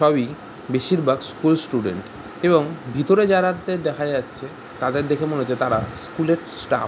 সবই বেশির ভাগ স্কুল স্টুডেন্ট এবং ভিতরে জারাদের দেখা যাচ্ছে তাদের দেখে মনে হচ্ছে তারা স্কুল এর স্টাফ ।